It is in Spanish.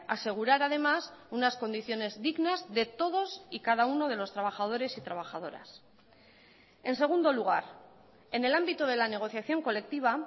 asegurar además unas condiciones dignas de todos y cada uno de los trabajadores y trabajadoras en segundo lugar en el ámbito de la negociación colectiva